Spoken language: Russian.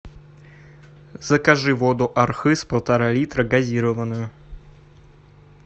закажи воду архыз полтора литра газированную